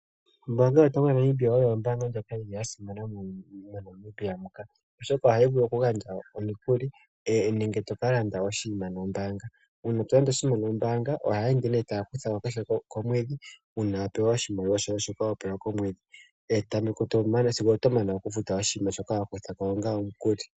Ombaanga yotango yopashigwana oyo ombaanga ndjoka ya simana moNamibia muka, oshoka ohayi vulu kugandja omikuli nenge to landa oshinima nombaanga. Uuna to londa oshinima nombaanga ohaye ende taya kutha ko kehe komwedhi uuna wa pewa oshimaliwa shoka ho pewa komwedhi sigo oto mana okufuta oshinima shoka wa kutha ko onga omukuli.